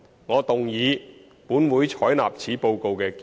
我動議"本會採納此報告"的議案。